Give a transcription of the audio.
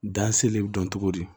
Dan sele bɛ dɔn cogo di